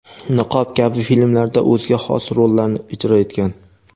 "Niqob" kabi filmlarda o‘zga xos rollarni ijro etgan.